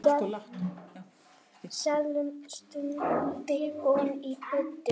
Seðlum stungið ofan í buddu.